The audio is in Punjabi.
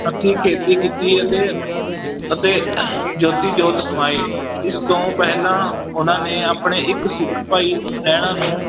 ਹੱਥੀਂ ਖੇਤੀ ਕੀਤੀ ਅਤੇ ਅਤੇ ਜੋਤੀ-ਜੋਤ ਸਮਾਏ, ਇਸ ਤੋਂ ਪਹਿਲਾਂ ਉਹਨਾਂ ਨੇ ਆਪਣੇ ਇੱਕ ਸਿੱਖ ਭਾਈ ਲਹਿਣਾ ਨੂੰ